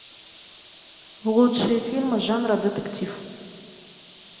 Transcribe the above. лучшие фильмы жанра детектив